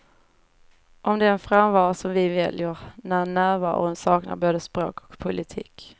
Om den frånvaro som vi väljer när närvaron saknar både språk och politik.